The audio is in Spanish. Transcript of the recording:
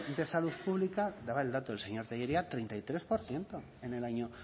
de salud pública daba el dato el señor tellería treinta y tres por ciento en el año